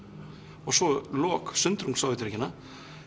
og svo sundrung Sovétríkjanna